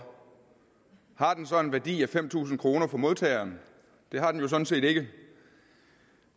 har den så en værdi fem tusind kroner for modtageren det har den jo sådan set ikke